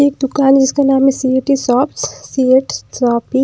एक दुकान है जिसका नाम है सी_ए_टी शॉप्स सीएट शॉप --